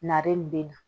Nare in bɛ na